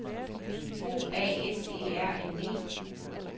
O A S E R N E